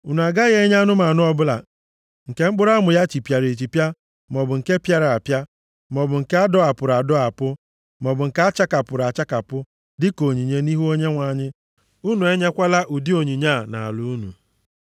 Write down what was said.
Unu agaghị enye anụmanụ ọbụla nke mkpụrụ amụ ya chipịara echipịa, maọbụ nke pịara apịa, maọbụ nke a dọwapụrụ adọwapụ maọbụ nke a chakapụrụ achakapụ, dịka onyinye nʼihu Onyenwe anyị. Unu enyekwala ụdị onyinye a nʼala unu.